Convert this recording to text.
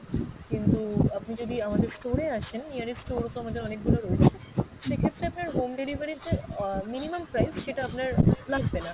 কিন্তু আপনি যদি আমাদের store এ আসেন, nearest store তো আমাদের অনেক গুলো রয়েছে, সেক্ষেত্রে আপনার home delivery র যে আহ minimum price সেটা আপনার লাগবে না।